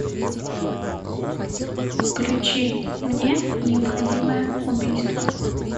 включи мне необходимое убийство